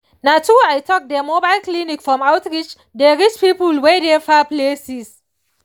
na true i talk dem mobile clinic from outreach dey reach people wey dey far places